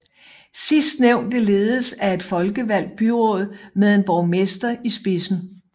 Sidstnævnte ledes af et folkevalgt byråd med en borgmester i spidsen